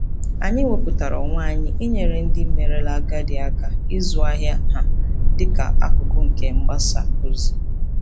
Anyị wepụtara onwe anyị inyere ndị merela agadi aka ịzụ ahịa ha dị ka akụkụ nke mgbasa ozi.